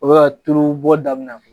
O be ka tulu bɔ daminɛ